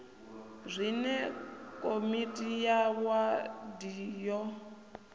zwine komiti ya wadi ya